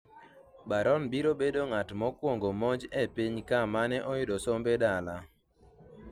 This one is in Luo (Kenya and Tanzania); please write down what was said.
Barron biro bedo ng'at mokwongo monj e pinyka mane oyudo sombe dala